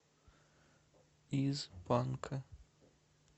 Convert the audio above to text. из панка